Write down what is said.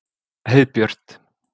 Heiðbjört